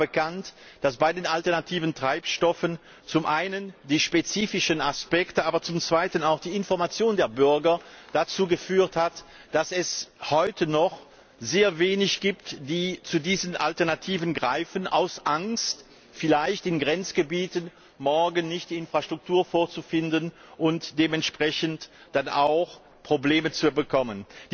Es ist bekannt, dass bei den alternativen Treibstoffen zum einen die spezifischen Aspekte, aber zum zweiten auch die Information der Bürger dazu geführt haben, dass es heute noch sehr wenige sind, die zu diesen Alternativen greifen aus Angst, vielleicht in Grenzgebieten morgen nicht die Infrastruktur vorzufinden und dementsprechend dann auch Probleme zu bekommen.